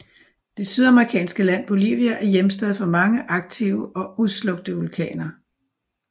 Det sydamerikanske land Bolivia er hjemsted for mange aktive og udslukte vulkaner